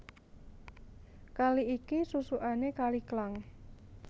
Kali iki susukané Kali Klang